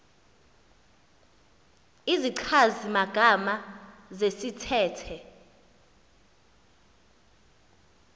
izichazi magama zesithethe